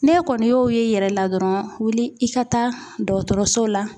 N'e kɔni y'o ye i yɛrɛ la dɔrɔn wuli i ka taa dɔgɔtɔrɔso la